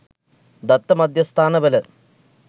දත්ත මධ්‍යස්ථාන වල